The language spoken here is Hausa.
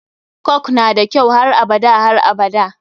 Coke nada kyau har abada har abada.